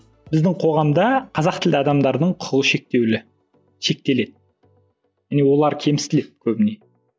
біздің қоғамда қазақ тілді адамдардың құқығы шектеулі шектеледі міне олар кемсітіледі көбіне